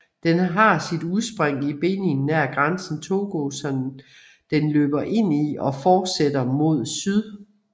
Den har sit udspring i Benin nær grænsen til Togo som den løber ind i og forsætter mod syd